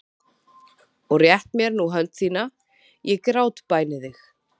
Og rétt mér nú hönd þína, ég grátbæni þig.